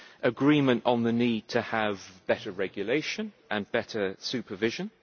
agreement on the need to have better regulation and better supervision